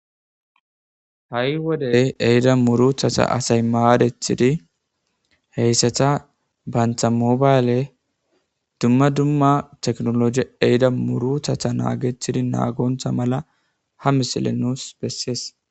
Ha7i wode ehida muruthata asay maadethidi heyssata bantha mobayle dumma dumma teknologi ehida muruthatha naagetidi naagontha mala ha misiley nus bessees.